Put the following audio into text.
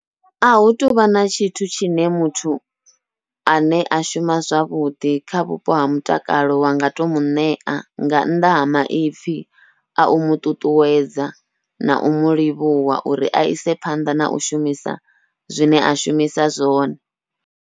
Ahu tuvha na tshithu tshine muthu ane a shuma zwavhuḓi kha vhupo ha mutakalo wa nga to muṋea, nga nnḓa ha maipfhi au muṱuṱuwedza nau mu livhuwa uri aise phanḓa nau shumisa zwine a shumisa zwone.